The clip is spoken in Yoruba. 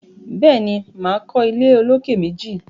Béèni, máa kọ́ ilé olókè méjì